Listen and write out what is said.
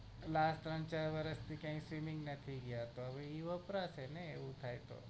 last ત્રણ ચાર વર્ષ થી ક્યાય swimming નથી ગયા તો એ વપરાશે ને એવું થાય તો